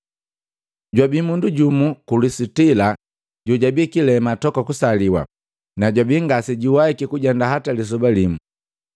Jwabi mundu jumu ku Lusitila jojabi kilema toka kusaliwa, na jwabi ngasejuwahiki kujenda hata lisoba limu.